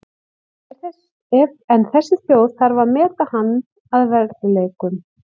En þessi þjóð þarf að meta hann að verðleikum.